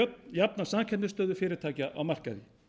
jafna samkeppnisstöðu fyrirtækja á markaði